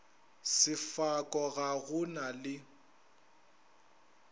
sefako ga go na le